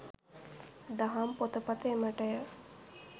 දහම් පොතපත එමටය.